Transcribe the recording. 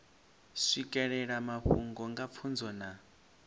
swikelela mafhungo nga pfunzo na